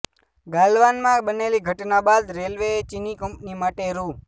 ગાલવાનમાં બનેલી ઘટના બાદ રેલવેએ ચીની કંપની માટે રૂ